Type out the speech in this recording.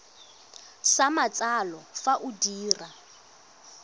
sa matsalo fa o dira